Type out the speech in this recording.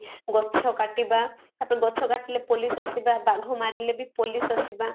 ଗଛ କାଟିବା ତାପରେ ଗଛ କାଟିଲେ police ଆସିବା ବାଘ ମାରିଲେ ବି police ଆସିବା